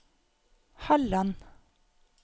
Halland